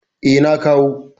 Eh, na kawo.